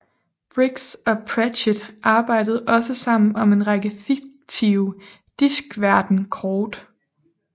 Briggs og Pratchett arbejde også sammen om en række fiktive Diskverden kort